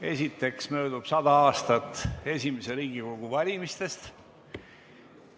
Esiteks möödub 100 aastat esimese Riigikogu valimistest.